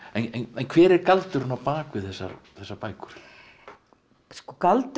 en hver er galdurinn á bak við þessar þessar bækur sko galdurinn